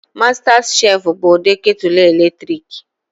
Mastas chef bụ ụdị ketulu eletrik